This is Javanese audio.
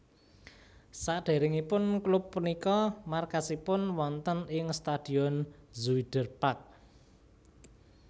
Sadèrèngipun klub punika markasipun wonten ing Stadion Zuiderpark